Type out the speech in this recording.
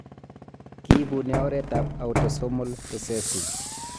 Kiibune oretab autosomal recessive.